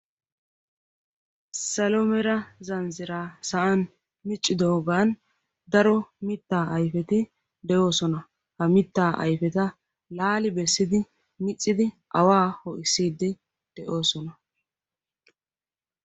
salo mera zanzzira sa'an miccidoogan daro mittaa ayfeti deyoosona ha mittaa ayfeta laali bessidi miccidi awaa ho'issiiddi de'oosona